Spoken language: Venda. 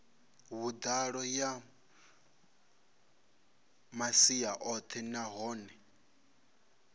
vhuḓalo ya masia oṱhe nahone